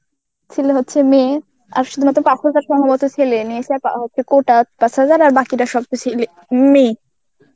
ছিল হচ্ছে মেয়ে আর সুধু পাঁচ হাজার সম্ভবত ছেলে কোটা পাঁচ হাজার বাকি টা ছে~ মেয়ে.